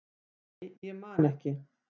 nei, ég man ekki